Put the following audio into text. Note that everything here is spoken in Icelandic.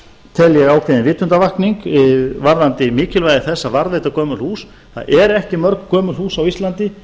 ég ákveðin vitundarvakning varðandi mikilvægi þess að varðveita gömul hús það eru ekki mörg gömul hús á íslandi